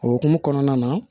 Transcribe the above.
O hokumu kɔnɔna na